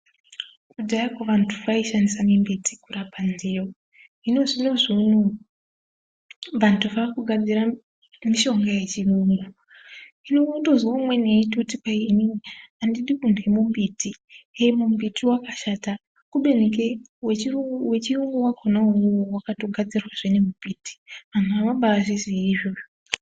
Kudhaya vantu vaishandisa miti kurapa ndeyo. Hino zvinezvi unou vantu vakugadzira mushonga yechirungu. Zvino unotozwa umweni eitoti inini andidi kurya mumbiti ,mumbiti wakashata kubeni wechiyungu wachonai iwowo wakatogadzirwazve ngemumbiti. Vantu avabaizvizivi izvozvo .